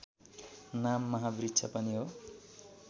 नाम महावृक्ष पनि हो